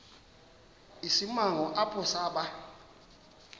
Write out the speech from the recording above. isimanga apho saba